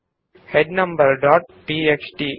head numbers dot TXT